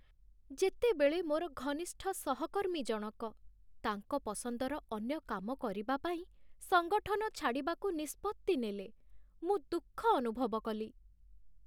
ଯେତେବେଳେ ମୋର ଘନିଷ୍ଠ ସହକର୍ମୀ ଜଣକ ତାଙ୍କ ପସନ୍ଦର ଅନ୍ୟ କାମ କରିବା ପାଇଁ ସଂଗଠନ ଛାଡ଼ିବାକୁ ନିଷ୍ପତ୍ତି ନେଲେ, ମୁଁ ଦୁଃଖ ଅନୁଭବ କଲି।